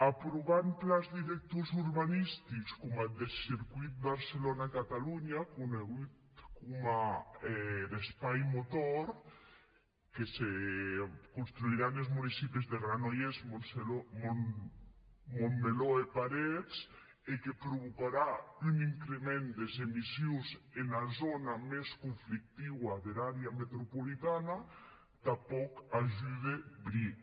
aprovant plans directors urbanistics coma eth deth circuit barcelona catalonha coneishut coma er espai motor que se constriurà enes municipis de granollers montmeló e parets e que provocarà un increment des emissions ena zòna mès conflictiva der àrea metropolitana tanpòc ajude bric